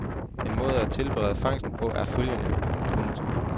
En måde at tilberede fangsten på er følgende. punktum